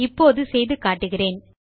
இப்போது செய்து காட்டுகிறேன்